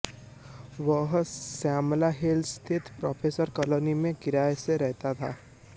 वह श्यामला हिल्स स्थित professor colony में किराए से रहता था